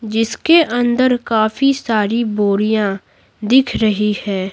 जिसके अंदर काफी सारी बोड़ियां दिख रही है।